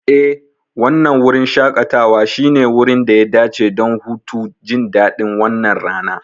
Eh, wannan wurin shaƙatawa shine wurin da ya dace don hutu, jin daɗin wannan rana.